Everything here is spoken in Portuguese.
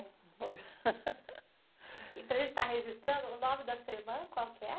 E para gente estar registrando, o nome da sua irmã, qual que é?